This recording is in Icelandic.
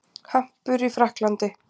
Hampur í Frakklandi.